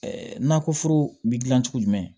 nakɔ foro bi dilan cogo jumɛn